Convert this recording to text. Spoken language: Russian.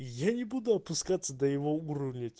я не буду опускаться до его уровня